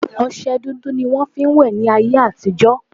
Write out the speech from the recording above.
Ọsẹ dúdú ni wọn fi ń wẹ̀ ni áyé àtijọ́